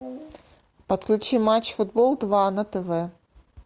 подключи матч футбол два на тв